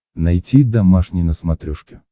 найти домашний на смотрешке